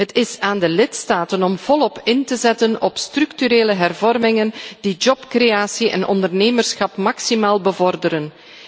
op. Het is aan de lidstaten om volop in te zetten op structurele hervormingen die jobcreatie en ondernemerschap maximaal bevorderen.